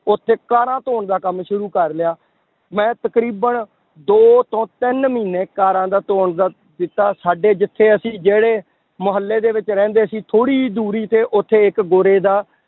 ਉੱਥੇ ਕਾਰਾਂ ਧੌਣ ਦਾ ਕੰਮ ਸ਼ੁਰੂ ਕਰ ਲਿਆ, ਮੈਂ ਤਕਰੀਬਨ ਦੋ ਤੋਂ ਤਿੰਨ ਮਹੀਨੇ ਕਾਰਾਂ ਦਾ ਧੌਣ ਦਾ ਦਿੱਤਾ ਸਾਡੇ ਜਿੱਥੇ ਅਸੀਂ ਜਿਹੜੇ ਮੁਹੱਲੇ ਦੇ ਵਿੱਚ ਰਹਿੰਦੇ ਸੀ ਥੋੜ੍ਹੀ ਜਿਹੀ ਦੂਰੀ ਤੇੇ ਉੱਥੇ ਇਕ ਗੋਰੇ ਦਾ